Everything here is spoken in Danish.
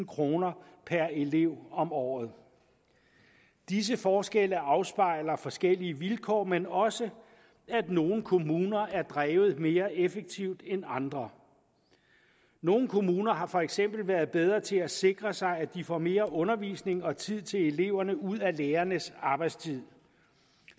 kroner per elev om året disse forskelle afspejler forskellige vilkår men også at nogle kommuner er drevet mere effektivt end andre nogle kommuner har for eksempel været bedre til at sikre sig at de får mere undervisning og tid til eleverne ud af lærernes arbejdstid